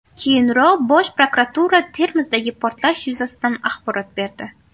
Keyinroq Bosh prokuratura Termizdagi portlash yuzasidan axborot berdi .